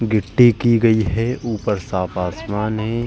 गिट्टी की गयी है। ऊपर साफ आसमान है।